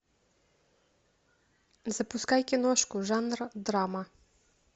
запускай киношку жанра драма